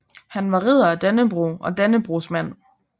Han var Ridder af Dannebrog og Dannebrogsmand